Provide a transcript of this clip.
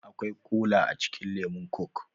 Akwai kola a cikin lemun coke